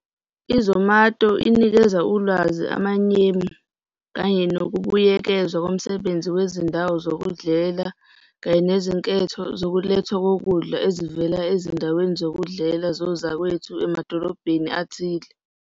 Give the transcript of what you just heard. I-Zomato inikeza ulwazi, amamenyu kanye nokubuyekezwa komsebenzisi kwezindawo zokudlela kanye nezinketho zokulethwa kokudla ezivela ezindaweni zokudlela zozakwethu emadolobheni athile.